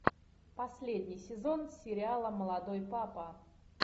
последний сезон сериала молодой папа